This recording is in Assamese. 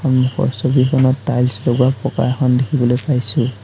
সন্মুখৰ ছবিখনত টাইলছ লগোৱা পকা এখন দেখিবলৈ পাইছোঁ।